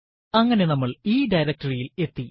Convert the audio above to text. അങ്ങനെ നമ്മൾ ഈ directory യിൽ എത്തി